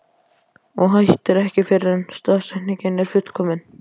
Og hættir ekki fyrr en staðsetningin er fullkomin.